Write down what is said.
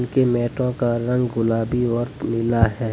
ये मेटों का रंग गुलाबी और पीला है।